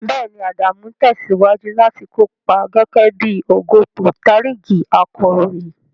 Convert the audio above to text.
Bẹ́ẹ̀ni, Adamu ń tẹ̀síwájú láti kópa gẹ́gẹ́ bí ogobontarigi akọ̀ròyìn.